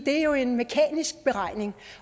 er jo en mekanisk beregning